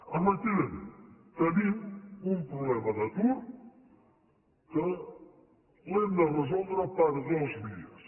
efectivament tenim un problema d’atur que l’hem de resoldre per dues vies